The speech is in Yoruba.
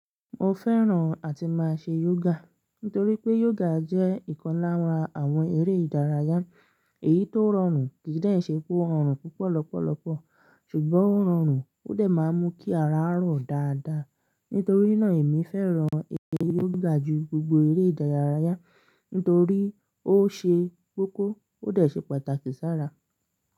Mo fẹ́ràn àti máa ṣe yoga nítorí pé yoga jẹ́ ìkọlànra àwọn eré ìdárayá. Èyí tó rọrùn kì í de ṣe pé ó rọrùn púpọ̀ lọ́pọ̀lọpọ̀ ṣùgbọ́n ó rọrùn ó de máa ń mú kí ara rọ̀ dáadáa. Nítorí náà èmi fẹ́ràn eré yoga ju gbogbo eré ìdárayá nítorí ó ṣe kókó ó dà ṣe pàtàkì sára.